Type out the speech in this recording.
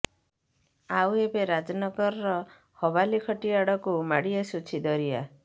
ଆଉ ଏବେ ରାଜନଗରର ହବାଲିଖଟି ଆଡ଼କୁ ମାଡ଼ି ଆସୁଛି ଦରିଆ